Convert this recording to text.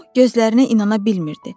O gözlərinə inana bilmirdi.